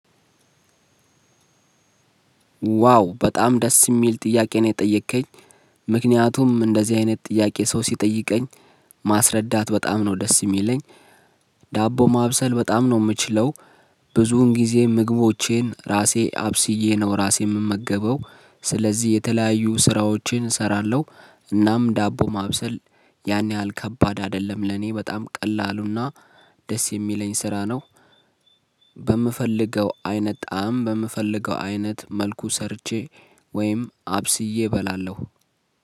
ዋው! በጣም ደስ የሚል ጥያቄ ነው የጠየከኝ። ምክንያቱም እንደዚህ አይነት ጥያቄ ሰው ሲጠይቀኝ ማስረዳት በጣም ነው ደስ የሚለኝ። ዳቦ ማብሰል በጣም ነው ምችለው ብዙን ጊዜ ምግቦቼን ራሴ አብስዬ ነው ራሴ ምመገበው ስለዚህ የተለያዩ ስራዎችን እሰራለሁ እናም ዳቦ ማብሰል ያን ያህል ከባድ አይደለም ለኔ በጣም ቀላሉና ደስ የሚለኝ ስራ ነው። በምፈልገው አይነት ጣዕም፣ በምፈልገው አይነት መልኩ ሰርቼ ወይም አብስዬ እበላለሁ።